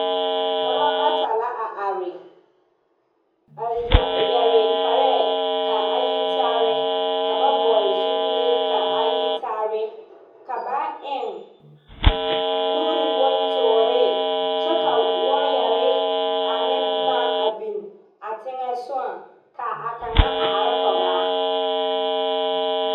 Dɔbɔ bata la a are, a yare kparɛɛ, ka a yi tarɛɛ, ka ba vɔgele zupile ka a yi tarɛɛ, ka ba eŋ nuuri bontoore, kyɛ ka waayɛre ane boma a biŋ a teŋa soŋaŋ ka a kaŋa a are kɔŋaa.